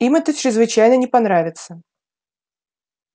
им это чрезвычайно не понравится